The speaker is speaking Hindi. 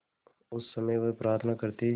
उस समय वह प्रार्थना करती